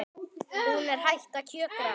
Hún er hætt að kjökra.